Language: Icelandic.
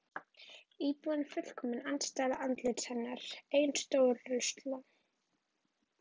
Íbúðin er fullkomin andstæða andlits hennar: Ein stór rusla